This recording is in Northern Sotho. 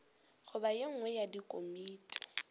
goba ye nngwe ya dikomiti